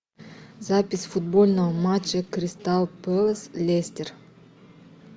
запись футбольного матча кристал пэлас лестер